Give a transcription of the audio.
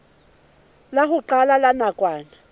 la ho qala la nakwana